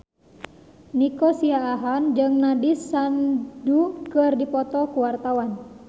Nico Siahaan jeung Nandish Sandhu keur dipoto ku wartawan